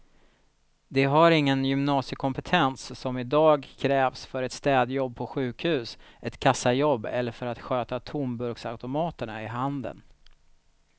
De har ingen gymnasiekompetens som i dag krävs för ett städjobb på sjukhus, ett kassajobb eller för att sköta tomburksautomaterna i handeln.